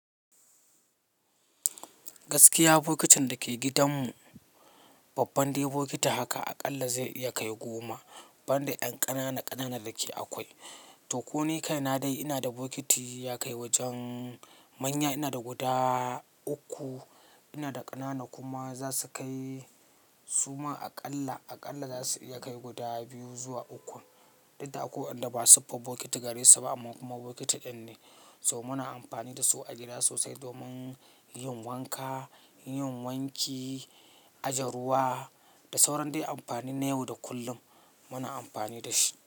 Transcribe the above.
Gaskiya bokitin dake gidanmu, babban dai bokiti haka a ƙalla zai iya kai goma, ban da ƴan ƙanana ƙanana da ke akwai. To ko ni kaina dai ina da bokiti ya kai wajen manya, ina da guda uku, ina da ƙanana kuma za su kai suma a ƙalla, a ƙalla za su iya kai guda biyu zuwa uku. Dukda akwai wanda ba sufa bokiti gare su ba amma kuma bokiti ɗin ne. So muna amfani da su a gida sosai domin yin wanka, yin wanki, aje ruwa da sauran dai amfani na yau da kullum muna amfani da shi.